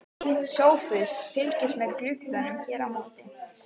SOPHUS: Fylgist með glugganum hér á móti.